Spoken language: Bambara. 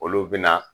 Olu bɛna